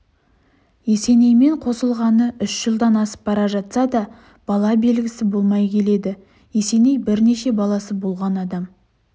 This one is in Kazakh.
есенеймен қосылғалы үш жылдан асып бара жатса да бала белгісі болмай келеді есеней бірнеше баласы болған адам